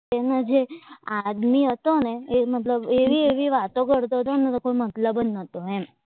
એમાં જે આદમી હતો ને એ મતલબ એવી ભી વાતો કરતો નથી કે હું કોઈ મતલબ જ નથી એમ